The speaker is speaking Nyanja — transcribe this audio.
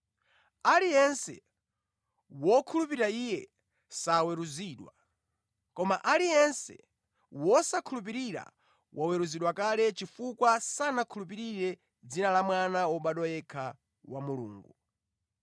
Aliyense wokhulupirira Iye saweruzidwa, koma aliyense wosakhulupirira waweruzidwa kale chifukwa sanakhulupirire dzina la Mwana wobadwa yekha wa Mulungu.